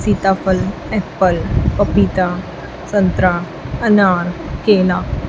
सीताफल एप्पल पपीता संतरा अनार केला--